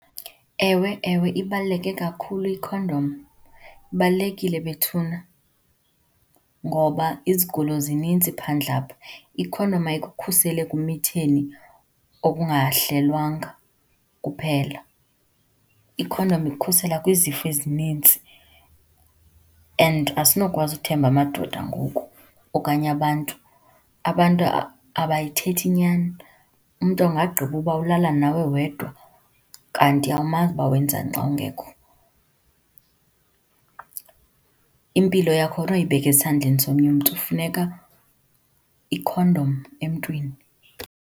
Ewe ewe, ibaluleke kakhulu ikhondom, ibalulekile bethuna ngoba izigulo zininzi phandle apha. Ikhondom ayikukhuseli ekumitheni okungahlelwanga kuphela, ikhondom ikukhusela kwizifo ezininzi and asinokwazi ukuthemba amadoda ngoku okanye abantu. Abantu abayithethi inyani, umntu angaggqiba uba ulala nawe wedwa kanti awumazi uba wenza ntoni xa ungekho. Impilo yakho awunoyibeka esandleni somnye umntu, kufuneka ikhondom emntwini.